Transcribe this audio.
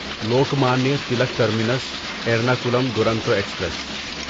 Lokmanya Tilak terminus Ernakulam Duronto express